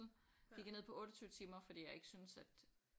Gik jeg ned på 28 timer fordi jeg ikke syntes at